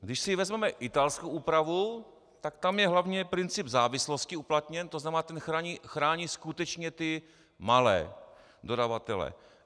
Když si vezmeme italskou úpravu, tak tam je hlavně princip závislosti uplatněn, to znamená, ten chrání skutečně ty malé dodavatele.